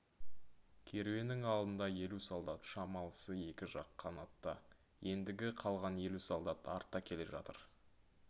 керуеннің алдында елу солдат шамалысы екі жақ қанатта ендігі қалған елу солдат артта келе жатыр